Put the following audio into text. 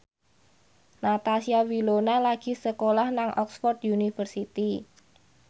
Natasha Wilona lagi sekolah nang Oxford university